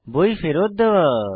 বই ফেরত দেওয়া